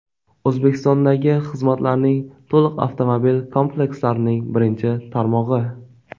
O‘zbekistondagi xizmatlarning to‘liq avtomobil komplekslarining birinchi tarmog‘i.